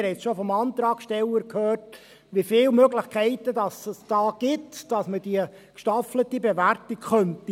Wir haben schon vom Antragssteller gehört, wie viele Möglichkeiten es hier gibt, dass man die gestaffelte Bewertung machen könnte.